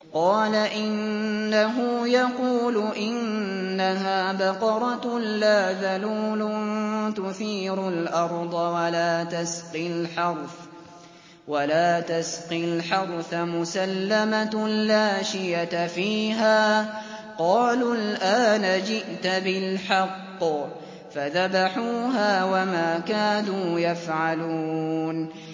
قَالَ إِنَّهُ يَقُولُ إِنَّهَا بَقَرَةٌ لَّا ذَلُولٌ تُثِيرُ الْأَرْضَ وَلَا تَسْقِي الْحَرْثَ مُسَلَّمَةٌ لَّا شِيَةَ فِيهَا ۚ قَالُوا الْآنَ جِئْتَ بِالْحَقِّ ۚ فَذَبَحُوهَا وَمَا كَادُوا يَفْعَلُونَ